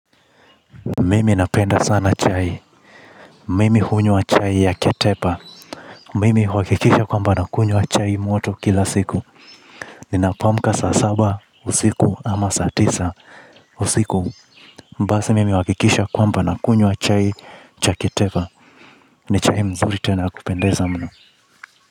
Mimi napenda sana chai. Mimi hunywa chai ya ketepa. Mimi huhakikisha kwamba nakunywa chai moto kila siku. Ninapoamka, saa saba, usiku ama saa tisa usiku. Basi mimi huhakikisha kwamba nakunywa chai cha ketepa. Ni chai mzuri tena ya kupendeza mno.